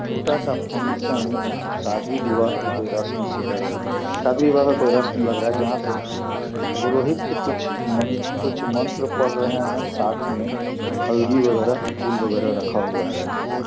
छोटा सा फंक्शन जहाँ शादी-विवाह की कोई रसम सी लग रही शादी विवाह का कोई रसम लग रहा है जहाँ पे पुरोहित कुछ मन कुछ मंत्र पड़ रहे है साथ में हल्दी वैगरह फूल वैगरह रखा हुआ है यहाँ पे।